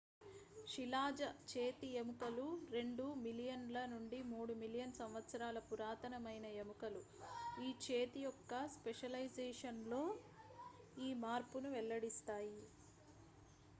శిలాజ చేతి ఎముకలు రెండు మిలియన్ ల నుండి మూడు మిలియన్ సంవత్సరాల పురాతన మైన ఎముకలు ఈ చేతి యొక్క స్పెషలైజేషన్ లో ఈ మార్పును వెల్లడిస్తాయి